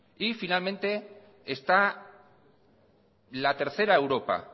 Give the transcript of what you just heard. y finalmente está la tercera europa